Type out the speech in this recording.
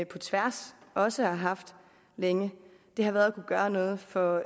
på tværs også har haft længe har været at kunne gøre noget for